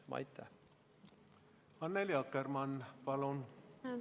Annely Akkermann, palun!